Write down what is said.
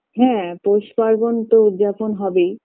হ্যাঁ পৌষ পার্বণ তো উদযাপন হবেই